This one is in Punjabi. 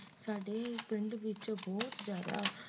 ਸਾਡੇ ਪਿੰਡ ਵਿੱਚ ਬਹੁਤ ਜ਼ਿਆਦਾ